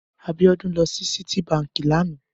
Abiodun lò si Citi bànkí lànã